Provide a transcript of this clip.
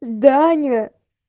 данию